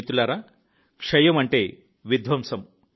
మిత్రులారా క్షయం అంటే విధ్వంసం